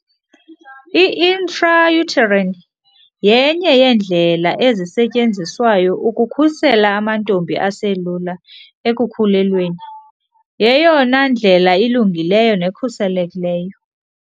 I-intrauterine yenye yeendlela ezisetyenziswayo ukukhusela amantombi aselula ekukhulelweni. Yeyona ndlela ilungileyo nekhuselekileyo.